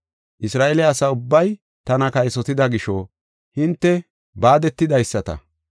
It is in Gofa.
Isra7eele asa ubbay tana kaysotida gisho, hinte baadetidaysata.